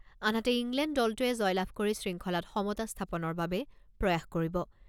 আনহাতে, ইংলেণ্ড দলটোৱে জয়লাভ কৰি শৃংখলাত সমতা স্থাপনৰ বাবে প্ৰয়াস কৰিব।